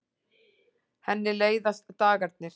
Henni leiðast dagarnir.